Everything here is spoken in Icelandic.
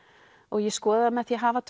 ég skoða það með því að hafa